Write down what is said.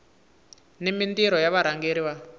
ni mintirho ya varhangeri va